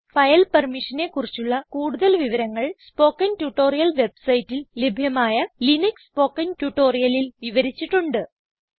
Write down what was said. file പെർമിഷനെ കുറിച്ചുള്ള കൂടുതൽ വിവരങ്ങൾ സ്പൊകെൻ ട്യൂട്ടോറിയൽ വെബ്സൈറ്റിൽ ലഭ്യമായ ലിനക്സ് സ്പൊകെൻ ട്യൂട്ടോറിയലിൽ വിവരിച്ചിട്ടുണ്ട്